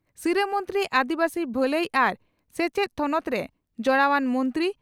ᱥᱤᱨᱟᱹ ᱢᱚᱱᱛᱨᱤ ᱟᱹᱫᱤᱵᱟᱹᱥᱤ ᱵᱷᱟᱹᱞᱟᱹᱭ ᱟᱨ ᱥᱮᱪᱮᱛ ᱛᱷᱚᱱᱚᱛᱨᱮ ᱡᱚᱲᱟᱣᱟᱱ ᱢᱚᱱᱛᱨᱤ